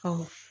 Ɔ